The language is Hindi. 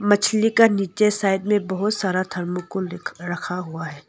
मछली का नीचे साइड में बहुत सारा थर्मोकोल रखा हुआ है।